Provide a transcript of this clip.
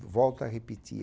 Eu volto a repetir.